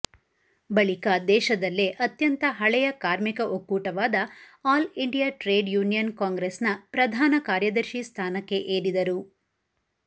ಬಳಿಕ ದೇಶದಲ್ಲೇ ಅತ್ಯಂತ ಹಳೆಯ ಕಾರ್ಮಿಕ ಒಕ್ಕೂಟವಾದ ಆಲ್ ಇಂಡಿಯಾ ಟ್ರೇಡ್ ಯೂನಿಯನ್ ಕಾಂಗ್ರೆಸ್ನ ಪ್ರಧಾನ ಕಾರ್ಯದರ್ಶಿ ಸ್ಥಾನಕ್ಕೆ ಏರಿದರು